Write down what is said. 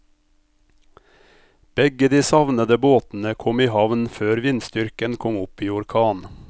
Begge de savnede båtene kom i havn før vindstyrken kom opp i orkan.